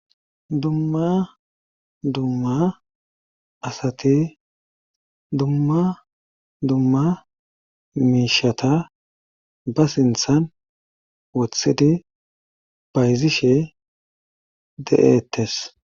Dumma dumma asati dumma dumma miishata ba sinthan wothidi bayzishe de7eettes.